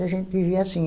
Mas a gente vivia assim.